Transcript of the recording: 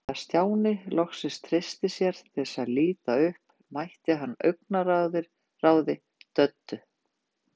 Þegar Stjáni loks treysti sér til að líta upp mætti hann augnaráði Döddu.